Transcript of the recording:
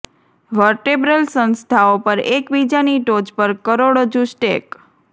vertebral સંસ્થાઓ પર એક બીજાની ટોચ પર કરોડરજ્જુ સ્ટેક